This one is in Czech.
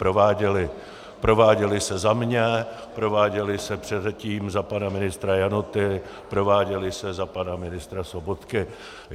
Prováděly se za mě, prováděly se předtím za pana ministra Janoty, prováděly se za pana ministra Sobotky.